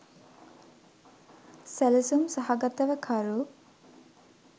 සැලසුම් සහගතව කරු